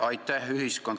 Aitäh!